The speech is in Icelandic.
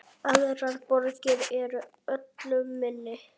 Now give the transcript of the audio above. Aðrar borgir eru öllu minni.